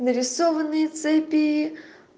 нарисованные цепи